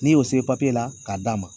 N'i y'o se la k'a d'a ma.